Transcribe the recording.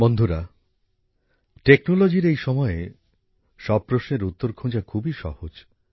বন্ধুরা প্রযুক্তির এই সময়ে সব প্রশ্নের উত্তর খোঁজা খুবই সহজ